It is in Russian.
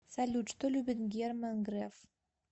салют что любит герман греф